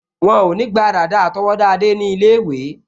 Wọ́n ò ní gba dàda àtọwọ́dá Adé ní ilé-ìwé